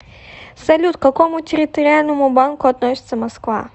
салют к какому территориальному банку относится москва